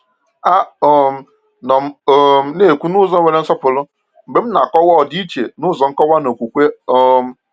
A um nọ m um na-ekwu n’ụzọ nwere nsọpụrụ mgbe m na-akọwa ọdịiche n’ụzọ nkọwa na okwukwe. um